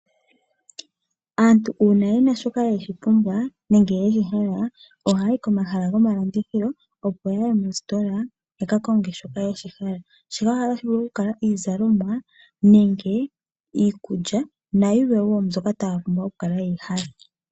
Aantu uuna yena shoka yeshipumbwa nenge yeshi hala ohayayi komahala gomalandithilo opo ya ye moositola ya ka konge shoka ya hala. Shika ohashi vulu oku kala iizalomwa nenge iikulya nayilwe woo mbyoka taya pumbwa oku kala yeyi hala.